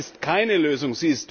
Das ist keine Lösung.